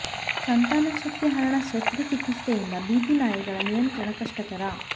ಸಂತಾನ ಶಕ್ತಿ ಹರಣ ಶಸ್ತ್ರ ಚಿಕಿತ್ಸೆಯಿಂದ ಬೀದಿ ನಾಯಿಗಳ ನಿಯಂತ್ರಣ ಕಷ್ಟಕರ